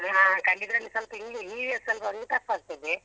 ಹ ಕಲಿಯುದ್ರಲ್ಲಿ ಸ್ವಲ್ಪ ಹಿಂದೆ EVS ಒಂದು ಸ್ವಲ್ಪ tough ಆಗ್ತದೆ.